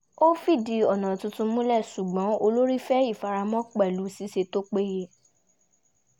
ó fìdí ọ̀nà tuntun múlẹ̀ ṣùgbọ́n olórí fẹ́ ìfaramọ́ pẹ̀lú ṣíṣe tó péye